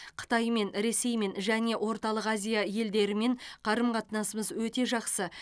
қытаймен ресеймен және орталық азия елдерімен қарым қатынасымыз өте жақсы